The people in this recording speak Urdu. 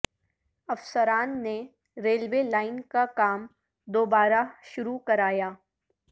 افسران نے ریلوے لائن کا کام دوبارہ شروع کرایا